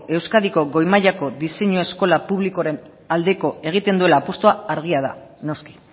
euskadiko goi mailako diseinu eskola publikoaren aldeko egiten duela apustua argia da noski